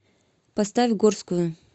поставь горскую